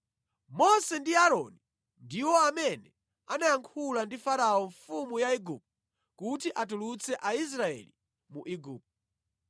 Mose ndi Aaroni ndiwo amene anayankhula ndi Farao mfumu ya Igupto kuti atulutse Aisraeli mu Igupto.